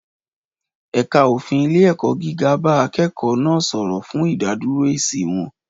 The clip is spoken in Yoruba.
Ẹ̀ka òfin ilé-ẹ̀kọ́ gíga bá akẹ́kọ̀ọ́ náà sọ̀rọ̀, fún ìdádúró èsì wọn.